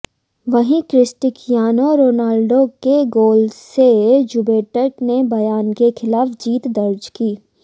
वहीं Cristiano Ronaldo के goal से जुवेंटस ने बायर के खिलाफ जीत दर्ज की